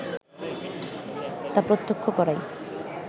তা প্রত্যক্ষ করাই